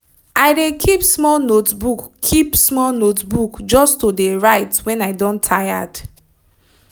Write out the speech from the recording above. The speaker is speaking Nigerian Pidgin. i de keep small notebook keep small notebook just to de write when i don tired.